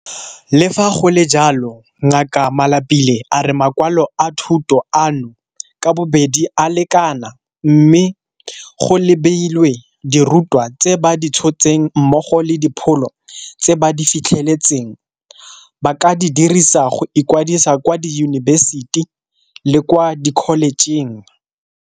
Le fa go le jalo, Ngaka Malapile a re makwalo a thuto ano ka bobedi a lekana mme, go lebilwe dirutwa tse ba di tshotseng mmogo le dipholo tse ba di fitlheletseng, ba ka di dirisa go ikwadisa kwa diyunibesiti le kwa dikholejeng.